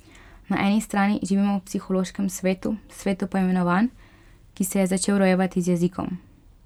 Na eni strani živimo v psihološkem svetu, svetu poimenovanj, ki se je začel rojevati z jezikom.